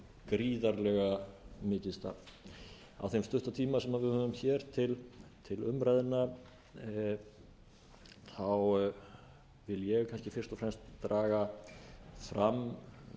gríðarlega mikið starf á þeim stutta tíma sem við höfum hér til umræðna vil ég kannski fyrst og fremst draga fram